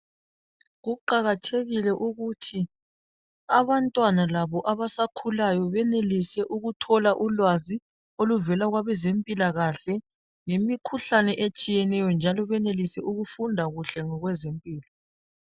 Kuqakathekile ukuthi abantwana labo abasakhulayo benelise ukuthola ulwazi oluvela kwabezempilakahle ngemikhuhlane etshiyeneyo njalo benelise ukufunda kuhle ngokwezempilo.